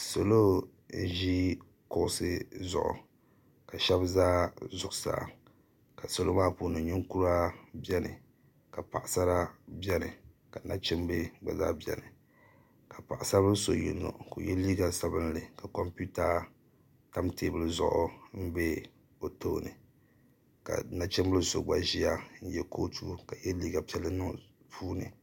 salo n-ʒi kuɣisi zuɣu ka shaba za zuɣusaa ka salo maa puuni ninkura beni ka paɣasara beni ka nachimba beni ka paɣasar' bila yino ye liiga sabinlli ka kompita tam teebuli zuɣu m-be be bɛ tooni ka nachimbil' so gba ʒia n-ye kootu ka ye liiga piɛlli niŋ di puuni